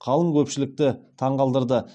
қалың көпшілікті таңғалдырды